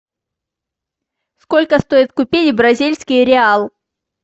сколько стоит купить бразильский реал